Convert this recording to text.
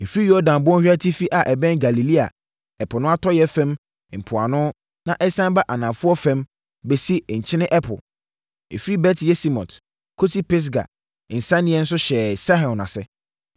Ɛfiri Yordan bɔnhwa atifi a ɛbɛn Galilea ɛpo no atɔeɛ fam mpoano na ɛsiane ba anafoɔ fam bɛsi Nkyene Ɛpo, firi Bet-Yesimot kɔsi Pisga nsianeɛ so hyɛɛ Sihon ase.